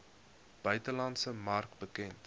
buitelandse mark bekend